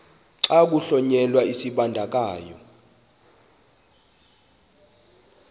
xa kuhlonyelwa isibandakanyi